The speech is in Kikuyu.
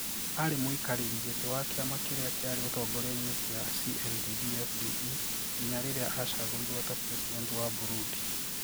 Ari muikareri giti wa kiama kiria kiari utongoriaini kia CNDD-FDD, nginya riria acagurirwo ta president wa Burundi